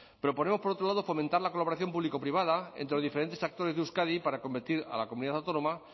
pero ponemos por otro lado fomentar la colaboración público privada entre los diferentes actores de euskadi para convertir a la comunidad autónoma